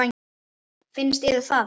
Finnst yður það?